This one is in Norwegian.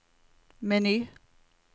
meny